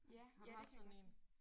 Ja ja det kan jeg godt se